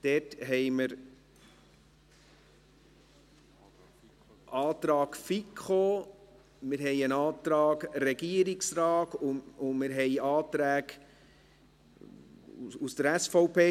Es gibt einen Antrag der FiKo, einen Antrag des Regierungsrates und Anträge von der SVP.